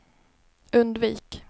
undvik